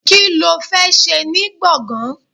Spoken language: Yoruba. Kí ló fẹ́ ṣe ní gbọ̀ngán?